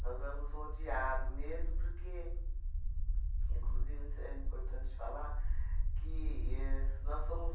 Nós éramos rodeados mesmo porque, inclusive não sei é importante falar que éh s nós somos...